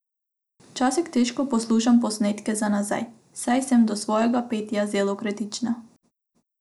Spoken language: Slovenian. Včasih težko poslušam posnetke za nazaj, saj sem do svojega petja zelo kritična.